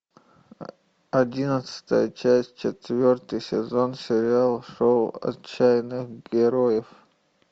одиннадцатая часть четвертый сезон сериал шоу отчаянных героев